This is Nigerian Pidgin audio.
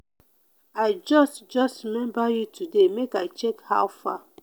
i just just remember you today make i check how far.